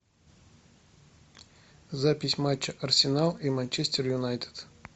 запись матча арсенал и манчестер юнайтед